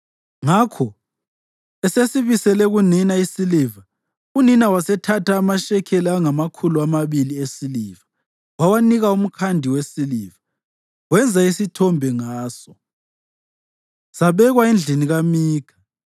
Ngakho esesibisele kunina isiliva, unina wasethatha amashekeli angamakhulu amabili esiliva wawanika umkhandi wesiliva, wenza isithombe ngaso. Sabekwa endlini kaMikha.